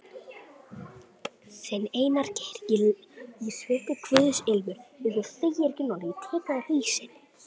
Þinn, Einar Geir.